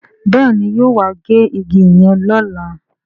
Béèni yóò wá gé ìgi yen lọla